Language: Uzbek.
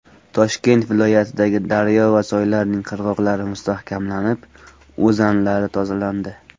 Toshkent viloyatidagi daryo va soylarning qirg‘oqlari mustahkamlanib, o‘zanlari tozalandi.